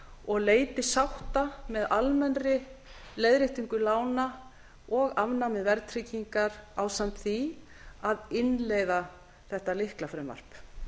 og leiti sátta með almennri leiðréttingu lána og afnámi verðtryggingar ásamt því að innleiða þetta lyklafrumvarp